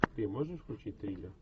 ты можешь включить триллер